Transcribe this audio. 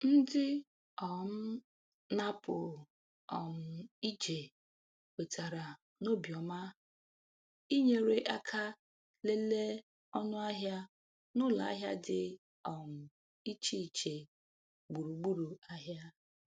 Ndị um na-apụ um ije kwetara n’obiọma inyere aka lelee ọnụahịa n’ụlọ ahịa dị um iche iche gburugburu ahịa.